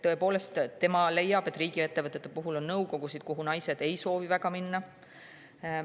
Ta leiab, et riigiettevõtetes on nõukogusid, kuhu naised ei soovi minna.